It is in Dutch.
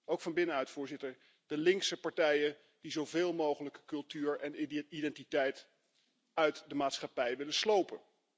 Ook van binnenuit. Voorzitter, de linkse partijen die zoveel mogelijk cultuur en identiteit uit de maatschappij willen slopen.